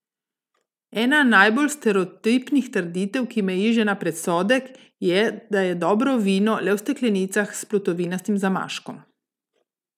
Ena najbolj stereotipnih trditev, ki meji že na predsodek, je, da je dobro vino le v steklenicah s plutovinastim zamaškom.